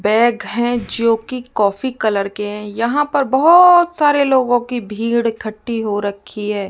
Bag है जोकि coffee colour के हैं यहां पर बहोत सारे लोगों की भीड़ इकट्ठी हो रखी है।